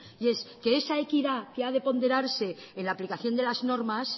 y es que esa equidad que ha de ponderarse en la aplicación de las normas